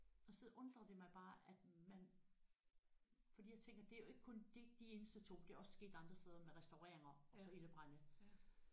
Og så undrede det mig bare at man fordi jeg tænker det er jo ikke kun det er ikke de eneste 2 det er også sket andre steder med restaureringer og så ildebrande